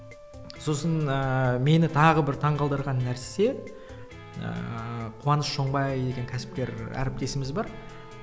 сосын ыыы мені тағы бір таң қалдырған нәрсе ыыы қуаныш оңбай деген кәсіпкер әріптесіміз бар